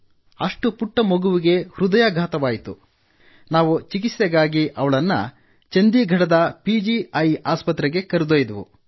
ಅಷ್ಟು ಪುಟ್ಟ ಮಗುವಿಗೆ ಹೃದಯಾಘಾತವಾಯಿತು ನಾವು ಚಿಕಿತ್ಸೆಗಾಗಿ ಅವಳನ್ನು ಚಂದೀಘಡದ ಪಿ ಜಿ ಐ ಸ್ಪತ್ರೆಗೆ ಕರೆದೊಯ್ದೆವು